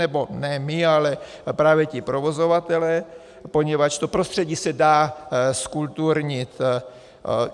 Nebo ne my, ale právě ti provozovatelé, poněvadž to prostředí se dá zkulturnit.